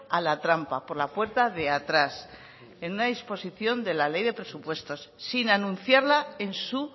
a la trampa por la puerta de atrás en una disposición de la ley de presupuestos sin anunciarla en su